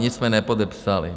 Nic jsme nepodepsali.